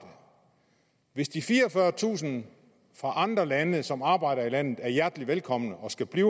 hvis de fireogfyrretusind fra andre lande som arbejder i landet er hjertelig velkommen og skal blive